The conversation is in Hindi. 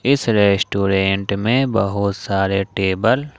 इस रेस्टोरेंट में बहुत सारे टेबल --